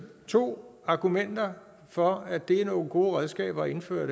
to argumenter for at det her er nogle gode redskaber at indføre